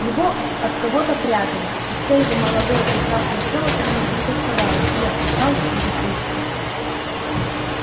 его от кого-то прятали и всё его молодое прекрасное тело томилось тосковало и опускалось от бездействия